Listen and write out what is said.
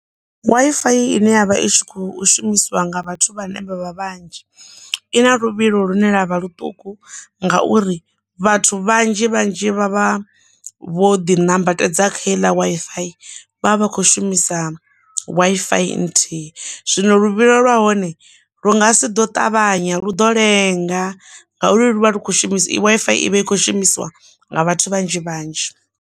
WiFi ine yavha i tshi kho shumisiwa nga vhathu vhane vha vha vhanzhi ina luvhilo lune lwavha ḽuṱuku, ngauri vhathu vhanzhi vhanzhi vha vha vho ḓi nambatedza kha heiḽa WiFi vha vha vha kho shumisa WiFi nthihi, zwino luvhilo lwahone lu nga si ḓo ṱavhanya lu ḓo lenga ngauri luvha kho shumisa WiFi ivha i kho shumisiwa nga vhathu vhanzhi vhanzhi.